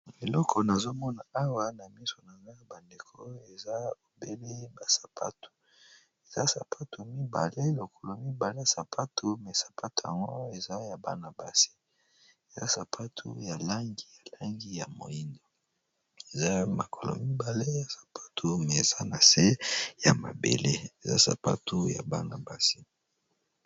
Eleko nazomona awa na miso nanga ya bandeko eza obele ba sapatu eza sapatu mibale lokolo mibale ya sapatu me sapatu yango eza ya banabasi eza sapatu ya langi ya langi ya moino ezay makolo mibale ya sapatu me eza na se ya mabele eza sapatu ya banabasi.